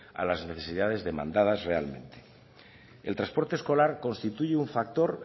a las necesidades demandas realmente el transporte escolar constituye un factor